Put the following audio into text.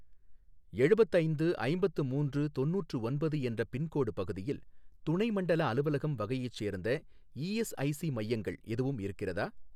எழுபத்து ஐந்து ஐம்பத்து மூன்று தொண்ணுாற்று ஒன்பது என்ற பின்கோடு பகுதியில் துணை மண்டல அலுவலகம் வகையைச் சேர்ந்த இஎஸ்ஐசி மையங்கள் எதுவும் இருக்கிறதா